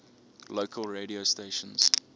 local radio stations